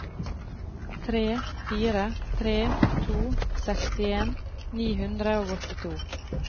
tre fire tre to sekstien ni hundre og åttito